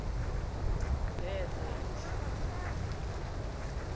nene yalifumana elo